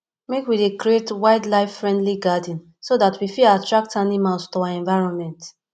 make we dey create wildlifefriendly garden so dat we fit attract animals to our environment